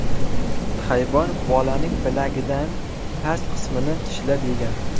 Hayvon bolaning bilagidan past qismini tishlab yegan.